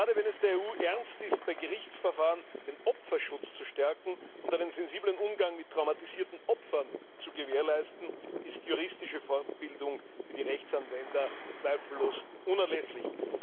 Gerade, wenn es der EU ernst ist, bei Gerichtsverfahren den Opferschutz zu stärken und einen sensiblen Umgang mit traumatisierten Opfern zu gewährleisten, ist juristische Fortbildung für die Rechtsanwender zweifellos unerlässlich.